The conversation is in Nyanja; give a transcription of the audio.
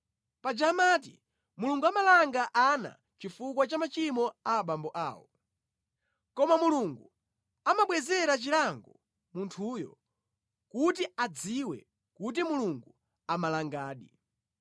Paja amati, ‘Mulungu amalanga ana chifukwa cha machimo abambo awo.’ Koma Mulungu amabwezera chilango munthuyo, kuti adziwe kuti Mulungu amalangadi.